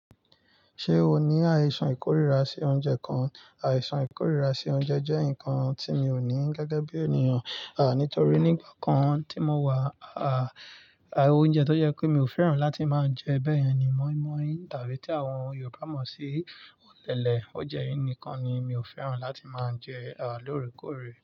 Ṣé o ní àìsàn ìkórìíra sí oúnjẹ kan? Àìsàn ìkórìíra sí oúnjẹ jẹ́ nǹkan tí mi ò ní gẹ́gẹ́ bí ènìyàn, nítorí nígbà kan tí mo wà, oúnjẹ tó jẹ́ pé mi ò fẹ́ràn láti máa jẹ bẹ́yẹn ni moin-moin tàbí tí àwọn Yorùbá mọ̀ sí ọ̀lẹ̀lẹ̀. Oúnjẹ yìí nìkan ni mi ò fẹ́ràn láti máa jẹ lóòrèkóòrè.